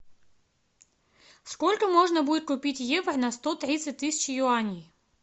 сколько можно будет купить евро на сто тридцать тысяч юаней